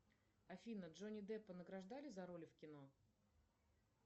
афина джонни деппа награждали за роли в кино